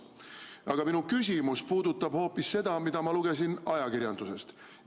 Aga minu küsimus puudutab hoopis midagi, mida ma lugesin ajakirjandusest.